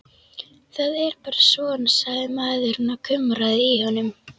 Það er bara svona, sagði maðurinn og kumraði í honum.